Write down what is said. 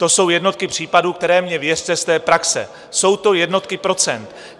To jsou jednotky případů, které - mně věřte z té praxe - jsou to jednotky procent.